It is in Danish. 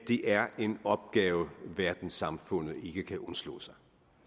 det er en opgave verdenssamfundet ikke kan undslå sig